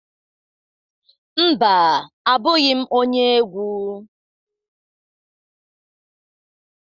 Mba, abụghị m onye egwu.